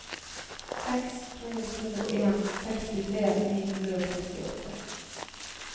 seks to to en sekstitre ni hundre og sekstiåtte